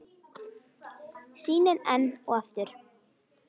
Sýnin enn og aftur.